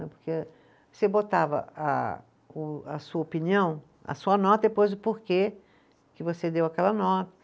Porque você botava a o a sua opinião, a sua nota, e depois o porquê que você deu aquela nota.